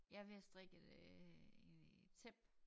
Jeg er ved at strikke et øh et tæppe